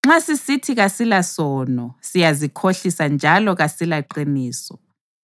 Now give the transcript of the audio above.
Nxa sisithi kasilasono, siyazikhohlisa njalo kasilaqiniso.